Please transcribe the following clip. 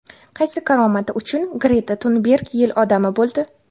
Qaysi karomati uchun Greta Tunberg yil odami bo‘ldi?.